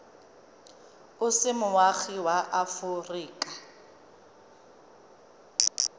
o se moagi wa aforika